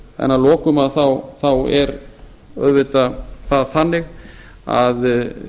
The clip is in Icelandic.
en að lokum þá er auðvitað það þannig að